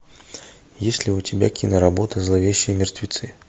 есть ли у тебя киноработа зловещие мертвецы